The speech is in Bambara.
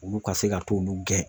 Olu ka se ka t'olu gɛn .